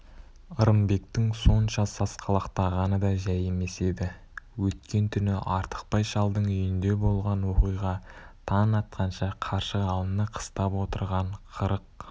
ырымбектің сонша сасқалақтағаны да жай емес еді өткен түні артықбай шалдың үйінде болған оқиға таң атқанша қаршығалыны қыстап отырған қырық